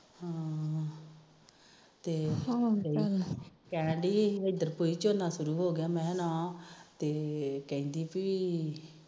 ਅੱਛਾ ਤੇ ਕਹਿਣਡੀ ਇਧਰ ਕੋਈ ਝੋਨਾ ਤਾਨੀ ਹੋ ਗਿਆ ਮੈ ਕਿਹਾ ਨਾ ਤੇ ਕਹਿੰਦੀ ਪੀ